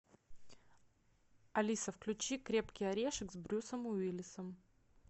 алиса включи крепкий орешек с брюсом уиллисом